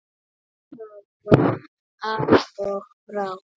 Nuddaðu bakið á maka þínum.